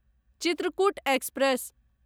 Chitrakoot express